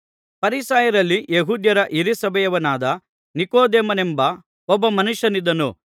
ಫರಿಸಾಯರಲ್ಲಿ ಯೆಹೂದ್ಯರ ಹಿರೀಸಭೆಯವನಾದ ನಿಕೊದೇಮನೆಂಬ ಒಬ್ಬ ಮನುಷ್ಯನಿದ್ದನು